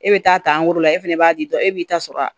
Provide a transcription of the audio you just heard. E bɛ taa la e fɛnɛ b'a di dɔ e b'i ta sɔrɔ a